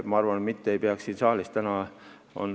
Ma arvan, et me ei peaks siin saalis seda tegema.